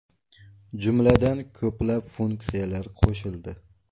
Jumladan, ko‘plab funksiyalar qo‘shildi.